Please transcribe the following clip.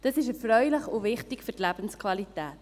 Das ist erfreulich und wichtig für die Lebensqualität.